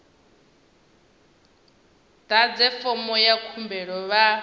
ḓadze fomo ya khumbelo vha